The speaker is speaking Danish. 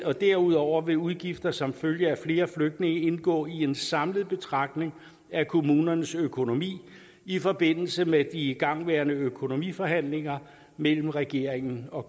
og derudover vil udgifter som følge af flere flygtninge indgå i en samlet betragtning af kommunernes økonomi i forbindelse med de igangværende økonomiforhandlinger mellem regeringen og